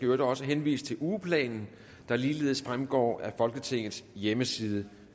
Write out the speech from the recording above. øvrigt også henvise til ugeplanen der ligeledes fremgår af folketingets hjemmeside